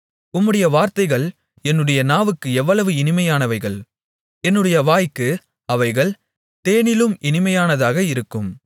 உம்முடைய வார்த்தைகள் என்னுடைய நாவுக்கு எவ்வளவு இனிமையானவைகள் என்னுடைய வாய்க்கு அவைகள் தேனிலும் இனிமையானதாக இருக்கும்